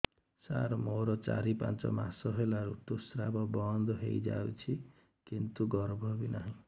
ସାର ମୋର ଚାରି ପାଞ୍ଚ ମାସ ହେଲା ଋତୁସ୍ରାବ ବନ୍ଦ ହେଇଯାଇଛି କିନ୍ତୁ ଗର୍ଭ ବି ନାହିଁ